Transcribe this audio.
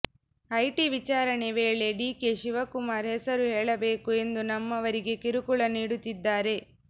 IT ವಿಚಾರಣೆ ವೇಳೆ ಡಿ ಕೆ ಶಿವಕುಮಾರ್ ಹೆಸರು ಹೇಳಬೇಕು ಎಂದು ನಮ್ಮವರಿಗೆ ಕಿರುಕುಳ ನೀಡುತ್ತಿದ್ದಾರೆ